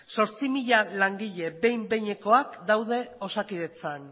zortzi mila langile behin behinekoak daude osakidetzan